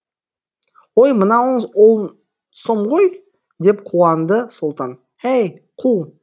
өй мынауыңыз он сом ғой деп қуанды сұлтан әй қу